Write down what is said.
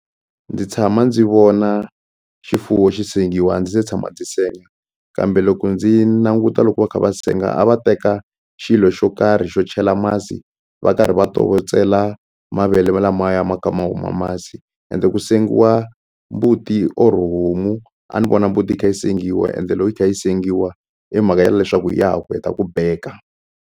Ndzi tshama ndzi vona xifuwo xi sengiwa ndzi se tshama ndzi senga kambe loko ndzi languta loko va kha va senga a va teka xilo xo karhi xo chela masi va karhi va tokotsela mavele lamaya ma kha ma huma masi ende ku sengiwa mbuti or homu a ni vona mbuti yi kha yi sengiwa ende loko yi kha yi sengiwa hi mhaka ya leswaku ya ha ku heta ku beka.